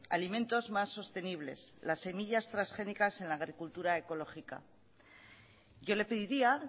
alimentos más sostenibles las semillas transgénicas en la agricultura ecológica yo le pediría